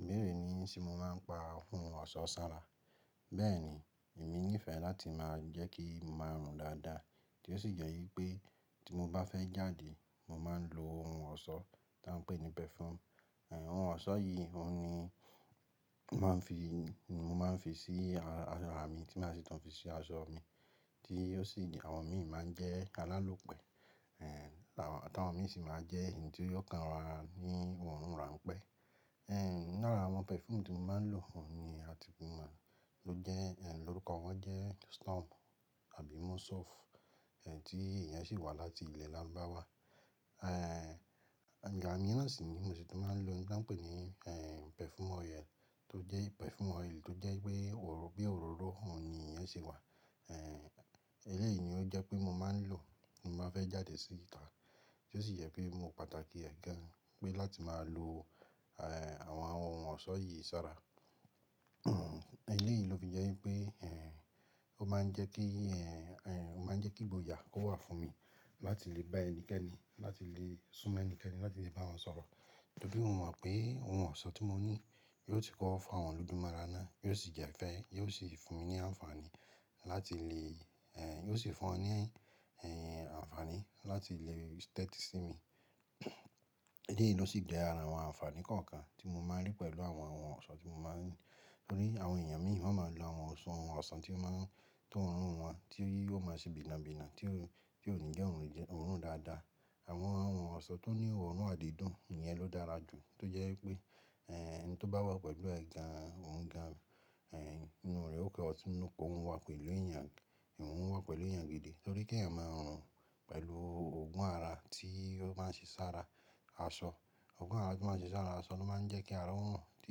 Ibeẹ̀rẹ̀ ni se mo máa ń pa ohun ọ̀ṣọ́ sára. Bẹ́ẹ̀ ni èmi nífẹ̀ẹ́ láti máa jẹ́ kí n máa rùn dáadáa, tí ó sì jẹ́ wípé tí mo bá fẹ́ jáde, mo máa ń lo ohun ọ̀ṣọ́ tá ń pè ní perfume. Ẹ̀hẹn, ohun ọ̀ṣọ́ yìí, òun ni mo máa ń fi sí ara à mi, tí màá sì tun fi sí asọ mi, tí ó sì jẹ àwọn mi máa ń jẹ́ alálòpẹ́. Ẹ̀hẹn, àwọn táwọn mi sì máa jẹ́ èyí tí yóò kanra ní òórùn rán pẹ́. Ẹ̀hẹn, lára àwọn perfume tí mo máa ń lò, òun ni a ti mọ̀, ló jẹ́ ẹn, lórúkọ wọ́n jẹ́ Storm àbí Mosouf, ẹn, tí iyen sì wá láti ilẹ̀ lárubáwá. Ẹ̀hẹn, ìgbà mírán sì ni mo sì tí tun máa ń lòhun tí wọ́n ń pè ní ẹn perfume oil, tó jẹ́ perfume oil tó jẹ́ pé bí òróró òun ni iyen ṣe wá. Ẹ̀hẹn, eléyìí ni ó jẹ́ pé mo máa ń lò bí mo bá fẹ́ jáde síta, tí ó sì jẹ pé mo pàtàkì ẹ̀ gan, pé láti máa lo àwọn ohun ọ̀ṣọ́ yìí sára. Eléyìí ló fi jẹ́ wípé ẹn, ó máa ń jẹ́ kí ẹn, ẹn, ó máa ń jẹ́ kí ìgboyà kó wà fún mi láti lè bá ẹnikẹ́ni, láti lè sún mọ́ ẹnikẹ́ni, láti lè bá wọn sọ̀rọ̀. Torí mo mọ̀ pé ohun ọ̀ṣọ́ tí mo ní, yóò ti kọ fa wọn lóju mora náà, yóò sì jẹ́ ìfẹ́, yóò sì fún mi ní ànfàní láti lè ẹn, yóò sì fún wọn ní ẹn ànfàní láti lè tẹ́tí sí mi. Eléyìí ló sì jé ara àwọn ànfàní kọ̀ọ̀kan tí mo máa ń rí pẹ̀lú àwọn ohun ọ̀ṣọ́ tí mo máa ń lò. Torí àwọn èèyàn mìíràn máa ń lo àwọn oṣo ohun ọ̀ṣọ́ tí ó máa ń, tóorùn wọn, tí ó máa ń ṣe bìnà bìnà, tí ó, tí ò ní jẹ́ ohun jẹ́ oorùn dáadáa. Àwọn ohun ọ̀ṣọ́ tó ní òórùn àdídùn, ìyẹn ló dára jù, tó jẹ́ wípé ẹn, ẹni tó bá wà pẹ̀lú ẹ̀ gan, òun gan, ẹn inú rẹ̀ ó kẹ́ ọtí nù kó ohun wà pẹ̀lú èèyàn, ohun wà pẹ̀lú èèyàn gidi. Torí kí ẹ̀eyan máa rùn pẹ̀lú òògùn ara tí ó máa ń ṣe sára asọ. Òògùn ara tí ó máa ń ṣe sára asọ ló máa ń jẹ́ kí ara ò rùn, tí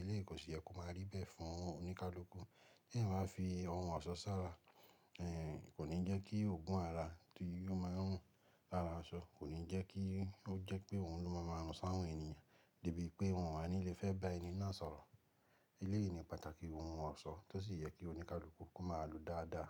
eléyìí kò sì yẹ kó máa rí bẹ́ẹ̀ fún oníkálukú. Kí ẹ̀ máa fi ohun ọ̀ṣọ́ sára, ẹn kò ní jẹ́ kí òògùn ara tí yóò máa ń rùn lára asọ, kò ní jẹ́ kí ó jẹ́ pé òun ló máa maa rún sáwọn èèyàn, debí pé wọn o wa ní lè fẹ́ bá ẹni náà sọ̀rọ̀. Eléyìí ni pàtàkì ohun ọ̀ṣọ́ tó sì yẹ kí oníkálukú kó máa lò dáadáa.